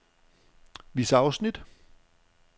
Vis afsnit.